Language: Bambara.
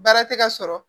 Baara tɛ ka sɔrɔ